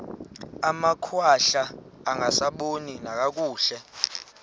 amakhwahla angasaboni nakakuhle